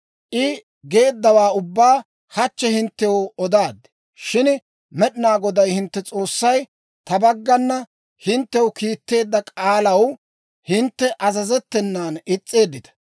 I geeddawaa ubbaa hachchi hinttew odaad. Shin Med'inaa Goday hintte S'oossay ta baggana hinttew kiitteedda k'aalaw hintte azazettenan is's'eeddita.